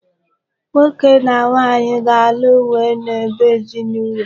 Nwoke na nwanyị ga-alụ wee n'ebe ezinụlọ.